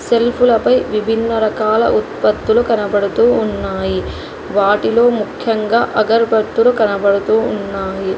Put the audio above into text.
Self లపై విభిన్న రకాల ఉత్పత్తులు కనబడుతూ ఉన్నాయి వాటిలో ముఖ్యంగా అగరబత్తులు కనబడుతూ ఉన్నాయి.